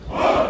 Hopp!